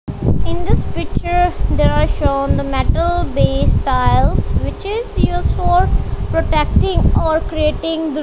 in this picture there are shown the metal base styles which is used for protecting or creating--